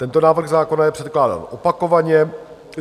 Tento návrh zákona je předkládán opakovaně.